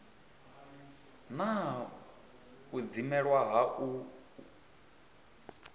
na u dzimelwa ha u